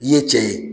I ye cɛ ye